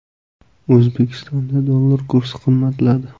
O‘zbekistonda dollar kursi qimmatladi.